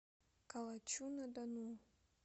калачу на дону